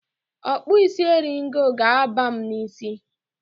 Okpusisi eringo ga-aba m n'ísí.